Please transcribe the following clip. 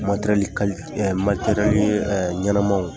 Materɛli kalite ɛ materɛli ɲɛnɛmaw